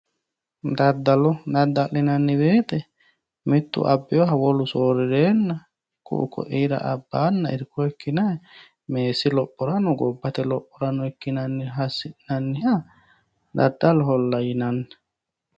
Daddalo dadda'linanniwoyite mittu abbinoha wolu soorrireenna ku'u ko'iira abbanna irko ikkinayi meessi lophorano gobbate lophorano ikkinanniha assi'nanniha daddaloholla yinannu.